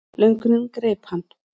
Löngunin greip hann.